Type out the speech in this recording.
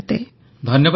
ପ୍ରଧାନମନ୍ତ୍ରୀ ଧନ୍ୟବାଦ